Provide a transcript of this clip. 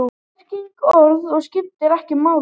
Merking orðanna skiptir ekki máli.